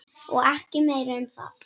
Og ekki meira um það.